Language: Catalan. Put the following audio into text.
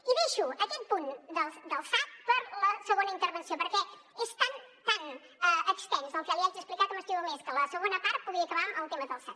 i deixo aquest punt del sad per la segona intervenció perquè és tan tan extens el que li haig d’explicar que m’estimo més que a la segona part pugui acabar el tema del sad